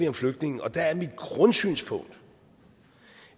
om flygtninge og der er mit grundsynspunkt